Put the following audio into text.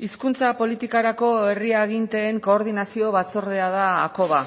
hizkuntza politikarako herri aginteen koordinazio batzordea da hakoba